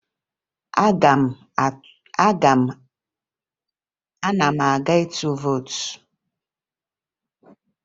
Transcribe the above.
Ana m aga ịtụ vootu